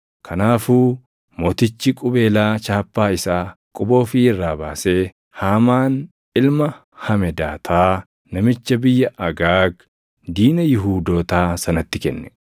Kanaafuu mootichi qubeelaa chaappaa isaa quba ofii irraa baasee Haamaan ilma Hamedaataa namicha biyya Agaag, diina Yihuudootaa sanatti kenne.